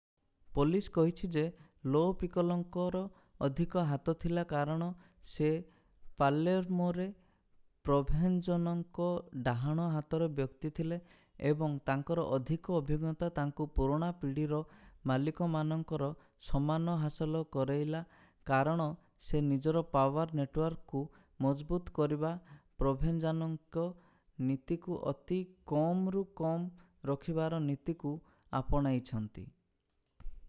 police କହିଛି ଯେ Lo ପିକୋଲୋଙ୍କର ଅଧିକ ହାତ ଥିଲା କାରଣ ସେ ପାଲେର୍ମୋରେ ପ୍ରୋଭେଞ୍ଜାନୋଙ୍କ ଡାହାଣ-ହାତର ବ୍ୟକ୍ତି ଥିଲେ ଏବଂ ତାଙ୍କର ଅଧିକ ଅଭିଜ୍ଞତା ତାଙ୍କୁ ପୁରୁଣା ପିଢୀର ମାଲିକ ମାନଙ୍କର ସମ୍ମାନ ହାସଲ କରେଇଲା କାରଣ ସେ ନିଜର ପାୱାର୍ ନେଟୱାର୍କକୁ ମଜବୁତ କରିବା ପ୍ରୋଭେଞ୍ଜାନୋଙ୍କ ନୀତିକୁ ଅତି କମରୁ କମ ରଖିବାର ନୀତିକୁ ଆପଣେଇଛନ୍ତି